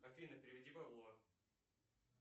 афина переведи бабло